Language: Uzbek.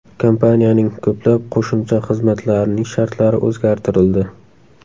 Kompaniyaning ko‘plab qo‘shimcha xizmatlarining shartlari o‘zgartirildi.